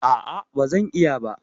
A'a, ba zan iya ba